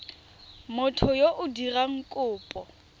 motho yo o dirang kopo